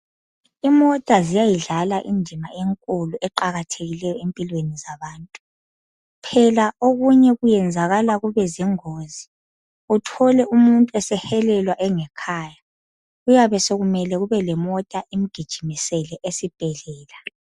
Imota ziyayidlala indima enkulu eqakathekileyo empilweni zabantu. Phela okunye kuyenzakala kube zingozi uthole umuntu esehelelwa engekhaya kuyabe sekumele kube lemota imgijimisele esibhedlela.